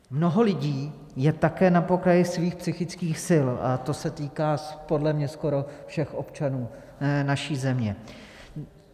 Mnoho lidí je také na pokraji svých psychických sil a to se týká podle mě skoro všech občanů naší země.